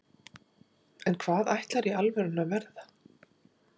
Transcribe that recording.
en hvað ætlarðu í alvörunni að verða?